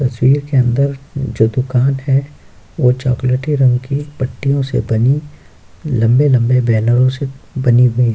तस्वीर के अंदर जो दुकान है वो चॉकलेटी रंग की पट्टियों से बनी लंबे-लंबे बैनरों से बनी हुई --